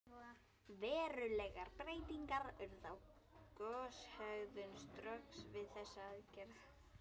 Verulegar breytingar urðu á goshegðun Strokks við þessa aðgerð.